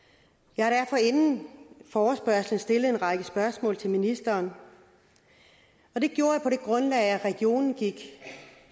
jeg har derfor inden forespørgslen stillet en række spørgsmål til ministeren og det gjorde jeg på det grundlag at regionen gik